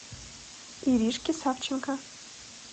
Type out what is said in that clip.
иришке савченко